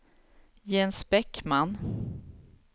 Jens Bäckman